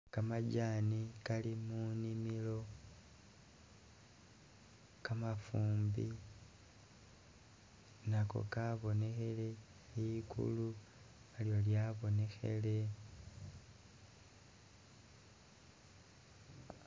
Gamajani gali munimilo, gamafumbi nago gabonekhele ligulu nalyo lyabonekhele.